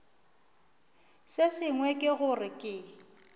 se sengwe ke gore ke